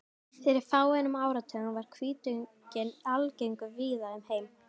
fyrir fáeinum áratugum var hvítugginn algengur víða um heim